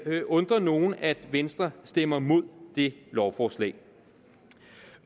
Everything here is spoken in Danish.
undre nogen at venstre stemmer imod det lovforslag